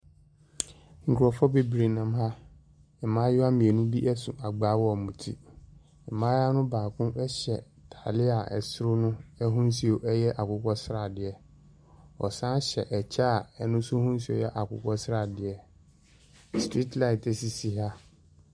Nkurɔfoɔ bebree nam na. mmaayewa mmienu bi so agbaa wɔ wɔn ti. Maayewa no baako hyɛ atadeɛ a soro no ho nsuo yɛ akokɔsradeɛ. Ɔsane hyɛ ɛkyɛ a ɛno nso ho nsuo yɛ akokɔsradeɛ. Street light sisi ha.